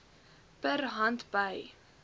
per hand by